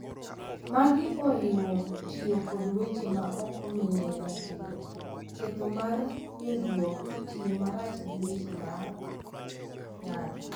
Magi oriwo tiyo kod weche ma ok omiye ratiro, ketho mar nindruok, tiyo marach gi weche mag ng’ato,